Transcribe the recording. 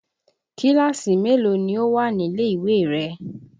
Kíláàsì mélòó ni ó wà nílè ìwé rẹ?